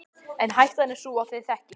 En hættan er sú að þeir þekki